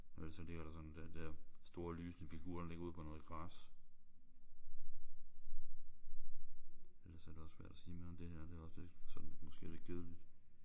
Og ellers så ligger der sådan den der store lysende figur der ligger ude på noget græs. Og ellers er det også svært at sige mere om det her. Det er også sådan måske lidt kedeligt